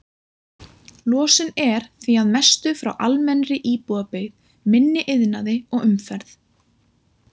Losun er því að mestu frá almennri íbúabyggð, minni iðnaði og umferð.